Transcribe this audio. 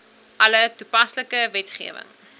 alle toepaslike wetgewing